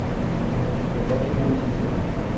покажи уиздом